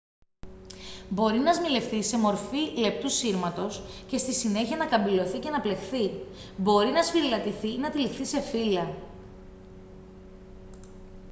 μπορεί να σμιλευτεί σε μορφή λεπτού σύρματος και στη συνέχεια να καμπυλωθεί και να πλεχθεί μπορεί να σφυρηλατηθεί ή να τυλιχθεί σε φύλλα